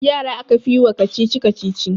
Yara aka fi yi wa kacici-kacici